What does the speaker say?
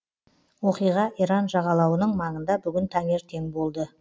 оқиға иран жағалауының маңында бүгін таңертең болды